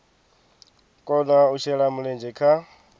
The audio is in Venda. kona u shela mulenzhe kha